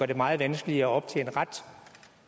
det meget vanskeligere at optjene ret